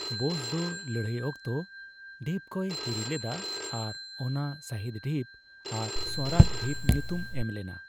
ᱵᱚᱥ ᱫᱚ ᱞᱟᱹᱲᱦᱟᱹᱭ ᱚᱠᱛᱚ ᱰᱷᱤᱯ ᱠᱚᱭ ᱦᱤᱨᱤ ᱞᱮᱫᱟ ᱟᱨ ᱚᱱᱟ ᱥᱚᱦᱤᱫᱼᱰᱷᱤᱯ ᱟᱨ ᱥᱣᱚᱨᱟᱡᱽᱼᱰᱷᱤᱯ ᱧᱩᱛᱩᱢ ᱮᱢ ᱞᱮᱱᱟ᱾